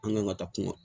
An kan ka taa kuma